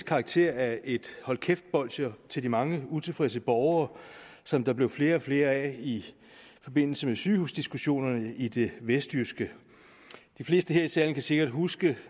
karakter af et hold kæft bolsje til de mange utilfredse borgere som der blev flere og flere af i forbindelse med sygehusdiskussionerne i det vestjyske de fleste her i salen kan sikkert huske